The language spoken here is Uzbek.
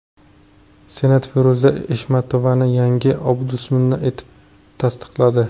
Senat Feruza Eshmatovani yangi Ombudsman etib tasdiqladi.